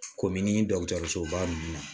Komini dɔgɔtɔrɔsoba nunnu na